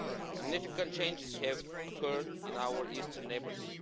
Significant changes have occurred in our Eastern neighbours.